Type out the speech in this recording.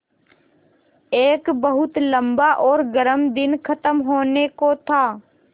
एक बहुत लम्बा और गर्म दिन ख़त्म होने को था